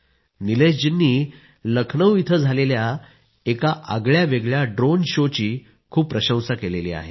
निलेशजींनी लखनौ इथं झालेल्या एका आगळ्यावेगळ्या ड्रोन शो ची खूप प्रशंसा केली आहे